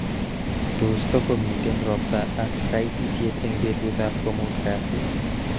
Tos, tokomiten robta ak kaititet eng betutab komutu kasi?